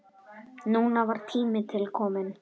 Núna var tími til kominn.